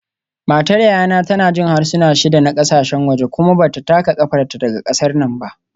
Matar yayana tana jin harsuna shida na kasashen waje kuma ba ta taka kafarta daga kasar nan ba